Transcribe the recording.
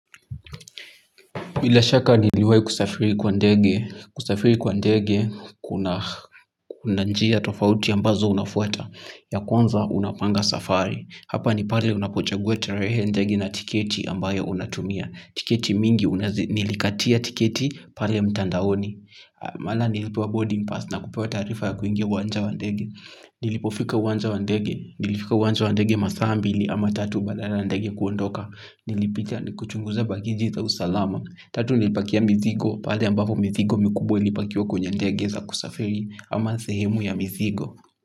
Bila shaka niliwahi kusafiri kwa ndege, kusafiri kwa ndege, kuna njia tofauti ambazo unafuata, ya kwanza unapanga safari. Hapa ni pale unapochagua tarehe ndege na tiketi ambayo unatumia, tiketi mingi, nilikatia tiketi pale mtandaoni. Mahala nilipewa boarding pass na kupewa taarifa ya kuingia uwanja wa ndege, nilipofika uwanja wa ndege, nilifika uwanja wa ndege maasa mbili ama tatu badala ndege kuondoka. Nilipitia kuchunguza bagi za usalama. Tatu nilipakia mizigo. Pale ambapo mizigo mikubwa ilipakiwa kwenye ndege za kusafiri ama sehemu ya mizigo.